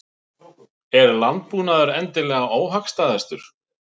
Er landbúnaðurinn endilega óhagstæðastur?